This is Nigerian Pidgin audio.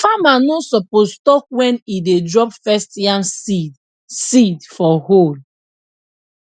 farmer no suppose talk when e dey drop first yam seed seed for hole